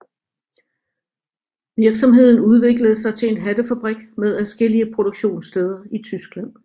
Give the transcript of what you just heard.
Virksomheden udviklede sig til en hattefabrik med adskillige produktionssteder i Tyskland